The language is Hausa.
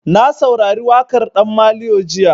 Na saurari waƙar ɗan maliyo jiya.